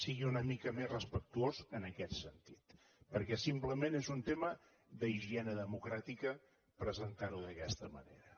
sigui una mica més respectuós en aquest sentit perquè simplement és un tema d’higiene democràtica presentar ho d’aquesta manera